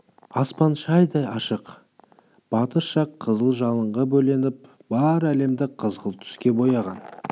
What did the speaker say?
аспан шайдай ашық батыс жақ қызыл жалынға бөленіп бар әлемді қызғылт түске бояған